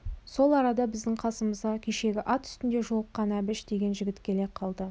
сол арада біздің қасымызға кешегі ат үстінде жолыққан әбіш деген жігіт келе қалды